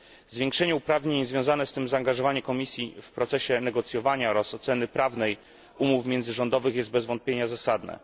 Zwiększenie uprawnień i związane z tym zaangażowanie Komisji w procesie negocjowania oraz oceny prawnej umów międzyrządowych jest bez wątpienia zasadne.